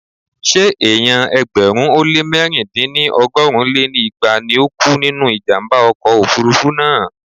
Ṣé èèyàn ẹgbẹ̀rún ó lé mẹ̀rin dín ní ọgọ́rin lé igba ni ó kú nínú ìjàmbá ọkọ̀ òfurufú náà?